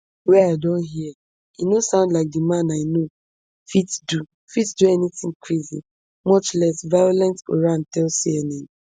wey i don hear e no sound like di man i know fit do fit do anytin crazy much less violent oran tell cnn